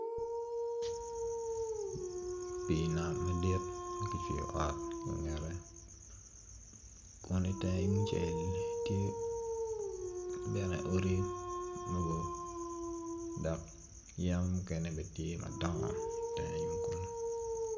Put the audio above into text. Pi nam madit makicwyo ot i kangete kun i tenge yung cel tye bene odi moruk dok yen mukene bene tye madongo i tenge yo kunu.